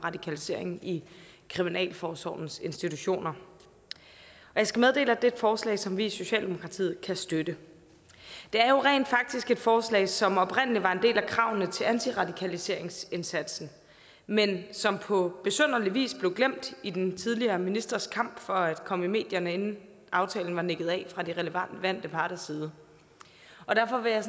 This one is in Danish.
radikalisering i kriminalforsorgens institutioner jeg skal meddele at det er et forslag som vi i socialdemokratiet kan støtte det er jo rent faktisk et forslag som oprindelig var en del af kravene til antiradikaliseringsindsatsen men som på besynderlig vis blev glemt i den tidligere ministers kamp for at komme i medierne inden aftalen var nikket af fra de relevante parters side derfor vil jeg